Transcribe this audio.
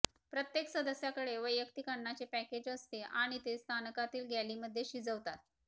प्रत्येक सदस्याकडे वैयक्तिक अन्नाचे पॅकेज असते आणि ते स्थानकातील गॅलीमध्ये शिजवतात